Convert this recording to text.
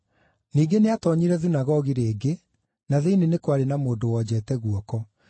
Ningĩ nĩatoonyire thunagogi rĩngĩ, na thĩinĩ nĩ kwarĩ na mũndũ wonjete guoko.